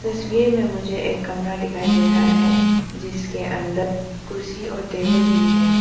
तस्वीर में मुझे एक कमरा दिखाई दे रहा है जिसके अंदर कुर्सी और टेबल भी है।